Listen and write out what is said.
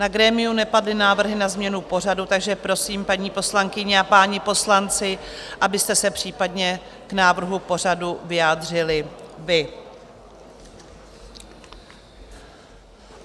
Na grémiu nepadly návrhy na změnu pořadu, takže prosím, paní poslankyně a páni poslanci, abyste se případně k návrhu pořadu vyjádřili vy.